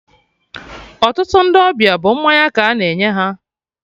Ọtụtụ Ndị ọbịa bụ mmanya ka a na-enye ha